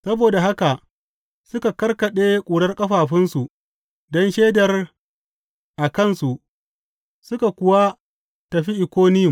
Saboda haka suka karkaɗe ƙurar ƙafafunsu don shaidar a kansu suka kuwa tafi Ikoniyum.